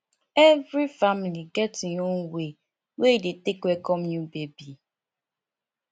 every family get im own way wey e dey take welcome new baby